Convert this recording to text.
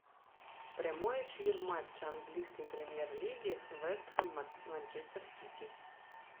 прямой эфир матча английской премьер лиги вест хэм манчестер сити